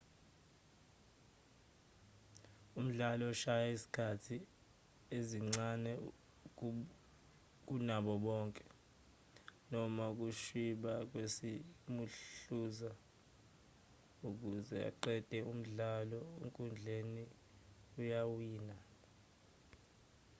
umdlali oshaya izikhathi ezincane kunabo bonke noma ukushwiba kwesimuhluza ukuze aqede umdlalo enkundleni uyawina